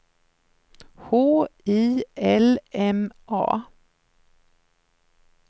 H I L M A